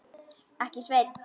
Ekki, Sveinn.